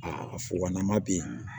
Aa fugannama be yen